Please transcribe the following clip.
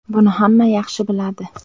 Buni hamma yaxshi biladi.